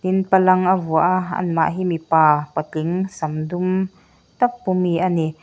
um palang a vuah a amah hi mipa patling sam dum tak pu mi a ni.